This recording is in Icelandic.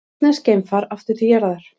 Rússneskt geimfar aftur til jarðar